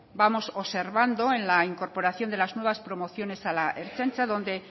vamos observando en la incorporación de las nuevas promociones a la ertzaintza donde